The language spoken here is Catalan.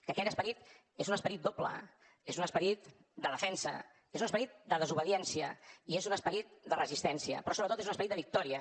que aquell esperit és un esperit doble és un esperit de defensa és un esperit de desobediència i és un esperit de resistència però sobretot és un esperit de victòria